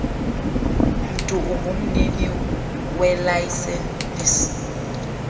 mntu ungumnini welayisenisi